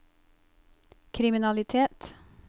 kriminalitet